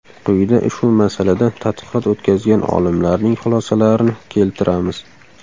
Quyida ushbu masalada tadqiqot o‘tkazgan olimlarning xulosalarini keltiramiz.